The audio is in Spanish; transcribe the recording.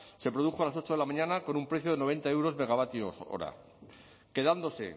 se produjo a las ocho de la mañana con un precio de noventa euros megavatio hora quedándose